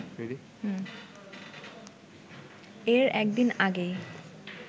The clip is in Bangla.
এর একদিন আগেই